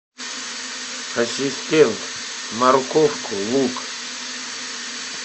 ассистент морковку лук